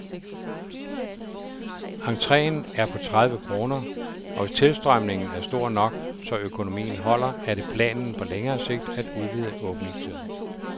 Entreen er på tredive kroner, og hvis tilstrømningen er stor nok, så økonomien holder, er det planen på længere sigt at udvide åbningstiden.